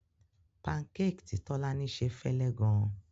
Pancake tí Tolani se fẹ́lẹ́ gan-an.